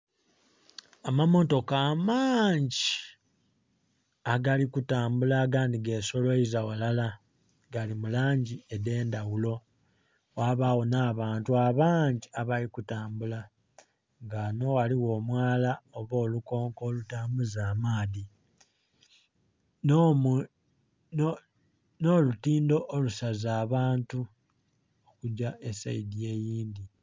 Amammotoka amangi agali kutambula, agandhi gesoloiza walala, gali mu langi edh'endhaghulo, ghabagho nh'abantu abangi abali kutambula. Nga wano ghaligho omwala oba olukonko olutambuza amaadhi, n'olutindo olusaza abantu okugya esayidi eyindhi.